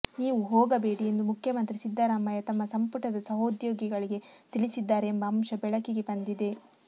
ನೀವು ಹೋಗಬೇಡಿ ಎಂದು ಮುಖ್ಯಮಂತ್ರಿ ಸಿದ್ದರಾಮಯ್ಯ ತಮ್ಮ ಸಂಪುಟದ ಸಹೋದ್ಯೋಗಿಗಳಿಗೆ ತಿಳಿಸಿದ್ದಾರೆ ಎಂಬ ಅಂಶ ಬೆಳಕಿಗೆ ಬಂದಿದೆ